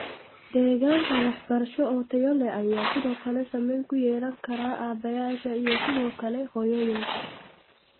Deegaanka waxbarasho oo tayo leh ayaa sidoo kale saameyn ku yeelan kara aabbayaasha iyo sidoo kale hooyooyinka.